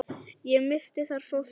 Ég missti þar fóstur.